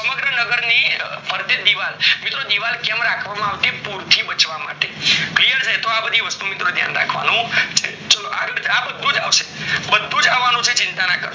નગર ની ફરતે દીવાલ મત્રો દીવાલ કેમ રાખવામાં આવતી પૂરથી બચવા માટે clear તો આ બધી વસ્તુ ઓ યાદ રાખવાની ચાલો આગળ આ બધુજ આવશે બધુજ આવાનું છે